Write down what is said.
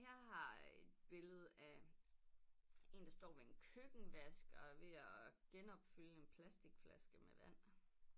Jeg har et billede af en der står ved en køkkenvask og er ved at genopfylde en plastikflaske med vand